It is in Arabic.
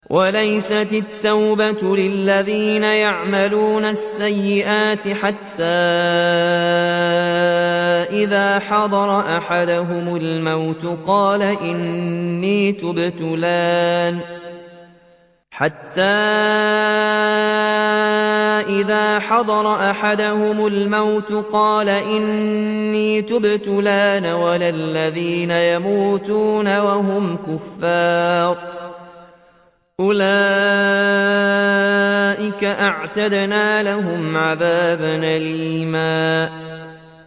وَلَيْسَتِ التَّوْبَةُ لِلَّذِينَ يَعْمَلُونَ السَّيِّئَاتِ حَتَّىٰ إِذَا حَضَرَ أَحَدَهُمُ الْمَوْتُ قَالَ إِنِّي تُبْتُ الْآنَ وَلَا الَّذِينَ يَمُوتُونَ وَهُمْ كُفَّارٌ ۚ أُولَٰئِكَ أَعْتَدْنَا لَهُمْ عَذَابًا أَلِيمًا